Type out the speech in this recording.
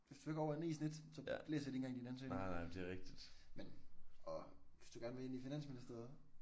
Hvis du ikke er over 9 i snit så læser de ikke engang din ansøgning men og hvis du gerne vil ind i finansministeriet